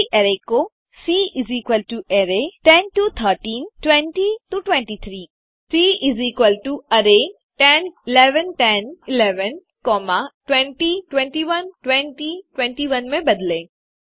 दी गई अरै को सी array10 11 12 13 20 21 22 23 सी array10 11 10 11 20 21 20 21 में बदलें